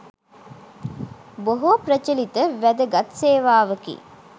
බොහෝ ප්‍රචලිත වැදගත් සේවාවක්.